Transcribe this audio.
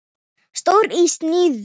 Stór í sniðum.